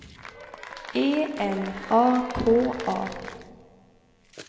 E L A K A